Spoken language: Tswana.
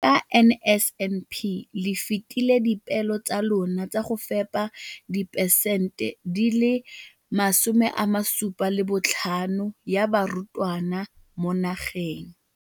Ka NSNP le fetile dipeelo tsa lona tsa go fepa masome a supa le botlhano a diperesente ya barutwana ba mo nageng.